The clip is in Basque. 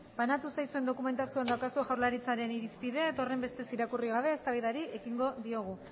banatu zaizuen dokumentazioan daukazue jaurlaritzaren irizpidea eta horrenbestez irakurri gabe eztabaidari ekingo diogu